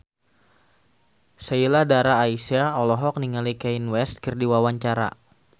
Sheila Dara Aisha olohok ningali Kanye West keur diwawancara